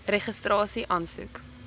registrasieaansoek